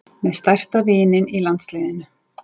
Með stærsta vininn í landsliðinu